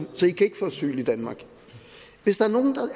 så i kan ikke få asyl i danmark hvis der